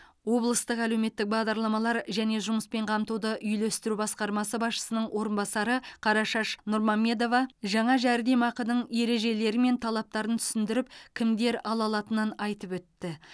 облыстық әлеуметтік бағдарламалар және жұмыспен қамтуды үйлестіру басқармасы басшысының орынбасары қарашаш нұрмамедова жаңа жәрдемақының ережелері мен талаптарын түсіндіріп кімдер ала алатынын айтып өтті